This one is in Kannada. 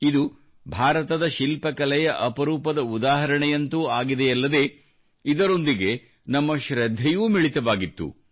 ಇದು ಭಾರತದ ಶಿಲ್ಪಕಲೆಯ ಅಪರೂಪದ ಉದಾಹರಣೆಯಂತೂ ಆಗಿದೆಯಲ್ಲದೆ ಇದರೊಂದಿಗೆ ನಮ್ಮ ಶೃದ್ಧೆಯೂ ಮಿಳಿತವಾಗಿತ್ತು